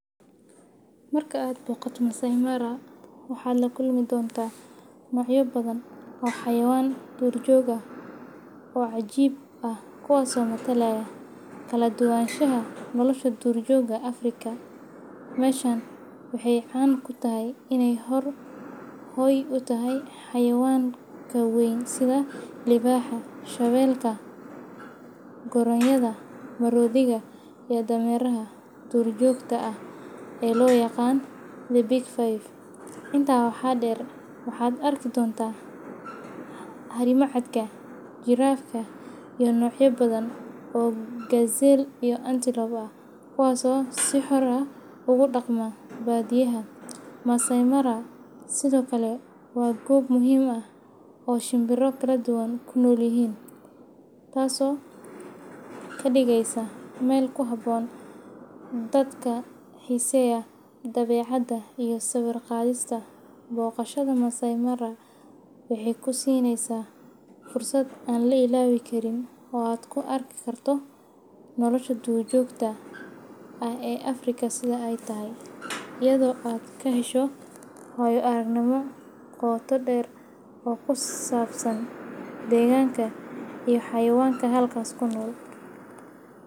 Marka aa noqotoh massaimara waxa lakulmi dontah nocya bathan oo xawayanbduur jook aah, oo cajib aah kuwaso lakahelaya kaladuwanashaha nolosha dur jokah afrika, meshan waxay can kutahay inay hooy u tahay xawayanga kewyn setha libaxa shawelka koroyada morothika iyo dameeraha durjoka, aah ee lo yaqan bigfive inta waxa deer waxa arki dontah harmacatka jerafka iyo nocyo bathan oo gazelle antelope kuwaso si xoor aah ugu daqmo baadiyaah massai maara sethokali wa Goob muhim u aah oo shembira farabathan kunolyahin, taaso kadugeysah meel kuhaboon dadka xeeseyah debacada iyo sawirqathesta , boqashada massai maara waxay kusineysah fursad aya la ilobikarin oo aa ku arkir kartoh nolosha durr jokah aah ee Afrika setha ay tahay eyado AA kaheshoh wayo aragnimo qoto dheer oo kusabsan deganka iyo xayawangak halkasi kunol .